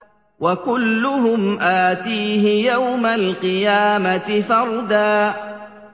وَكُلُّهُمْ آتِيهِ يَوْمَ الْقِيَامَةِ فَرْدًا